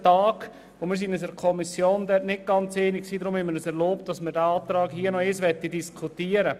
Wir waren uns in der Kommission nicht ganz einig, deshalb erlauben wir uns, diesen Antrag noch einmal hier im Plenum zu diskutieren.